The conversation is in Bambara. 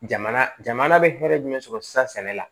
Jamana jamana bɛ hɛrɛ jumɛn sɔrɔ sisan sɛnɛ la